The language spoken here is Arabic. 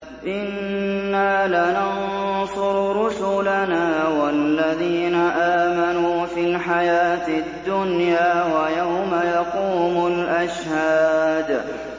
إِنَّا لَنَنصُرُ رُسُلَنَا وَالَّذِينَ آمَنُوا فِي الْحَيَاةِ الدُّنْيَا وَيَوْمَ يَقُومُ الْأَشْهَادُ